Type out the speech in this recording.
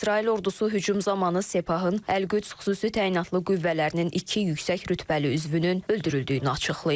İsrail ordusu hücum zamanı Sepahın Əl-Qüds xüsusi təyinatlı qüvvələrinin iki yüksək rütbəli üzvünün öldürüldüyünü açıqlayıb.